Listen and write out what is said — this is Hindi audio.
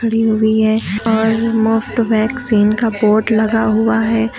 हुई है और मुफ्त वैक्सीन का बोर्ड लगा हुआ है।